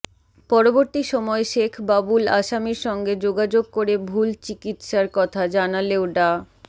পরবর্তী সময় শেখ বাবুল আসামির সঙ্গে যোগাযোগ করে ভুল চিকিসার কথা জানালেও ডা